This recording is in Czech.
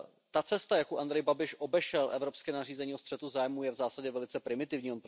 Ta cesta, jakou Andrej Babiš obešel evropské nařízení o střetu zájmů, je v zásadě velice primitivní.